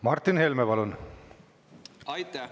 Martin Helme, palun!